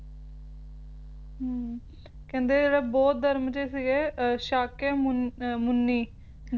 ਹੁੰ ਕਹਿੰਦੇ ਜਿਹੜਾ ਬੌਧ ਧਰਮ ਦੇ ਸੀਗੇ ਸ਼ਾਕੇ ਮੁਨ ਮੁਨੀ